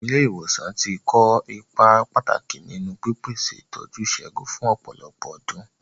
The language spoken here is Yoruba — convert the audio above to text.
Àwọn ilé ìwòsàn ti ń kó ipa pàtàkì nínú pípèsè ìtọ́jú ìṣègùn fún ọ̀pọ̀lọpọ̀ ọdún.